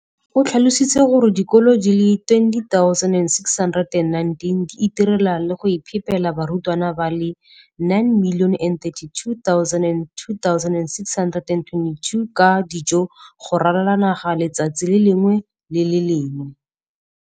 o tlhalositse gore dikolo di le 20 619 di itirela le go iphepela barutwana ba le 9 032 622 ka dijo go ralala naga letsatsi le lengwe le le lengwe.